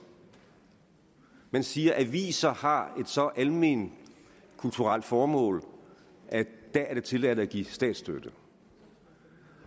man siger at aviser har et så alment kulturelt formål at der er det tilladt at give statsstøtte og